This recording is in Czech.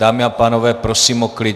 Dámy a pánové, prosím o klid.